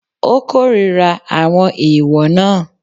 Ó kórira àwọn ẹ̀èwọ̀ náà.